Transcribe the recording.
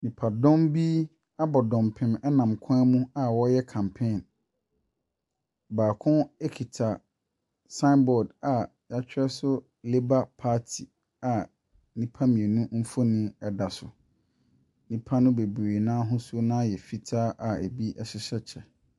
Nnipadɔm bi abɔ dɔmpem nam kwan mu a wɔreyɛ campaign. Baako kita sign board a wɔatwerɛ so Labour Party a nnipa mmienu mfonin da so. Nnipa no bebree no ara ahosuo no ara yɛ fitaa a ɛbi hyehyɛ kyɛ.